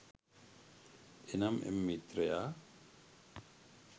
එනම් එම මිත්‍රයා